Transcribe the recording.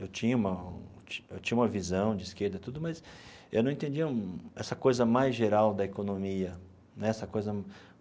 Eu tinha uma ti eu tinha uma visão de esquerda e tudo, mas eu não entendia essa coisa mais geral da economia né essa coisa.